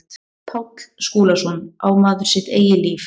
Páll Skúlason, Á maður sitt eigið líf?